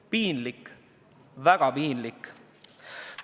Piinlik, väga piinlik!